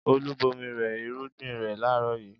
Olú bomi rẹ irúgbìn rẹ̀ láàárọ̀ yìí?